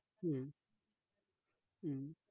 হম হম